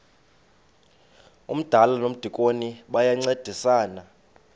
umdala nomdikoni bayancedisana